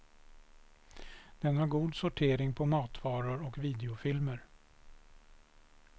Den har god sortering på matvaror och videofilmer.